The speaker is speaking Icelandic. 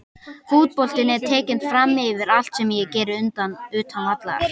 Fótboltinn er tekinn framyfir allt sem ég geri utan vallar.